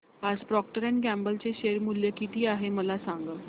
आज Procter and Gamble चे share मूल्य किती आहे मला सांगा